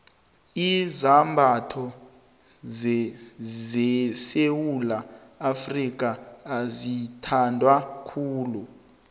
izambatho sesewula afrika azithandwa khulu